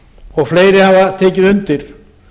og fleiri hafa tekið undir